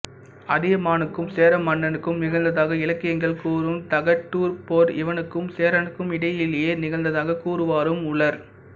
அதியமானுக்கும் சேர மன்னனுக்கும் நிகழ்ந்ததாக இலக்கியங்கள் கூறும் தகடூர்ப் போர் இவனுக்கும் சேரனுக்கும் இடையிலேயே நிகழ்ந்ததாகக் கூறுவாரும் உளர்